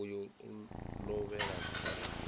uyo a lovhela khaḽo i